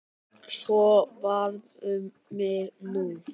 Svo varð um mig nú.